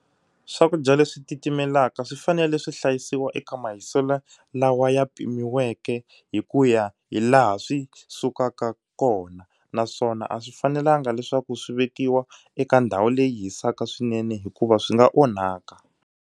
Swakudya leswi titimelaka swi fanele swi hlayisiwa eka mahiselo lawa ya pimiweke hi ku ya hi laha swi sukaka kona naswona a swi fanelanga leswaku swi vekiwa eka ndhawu leyi hisaka swinene hikuva swi nga onhaka.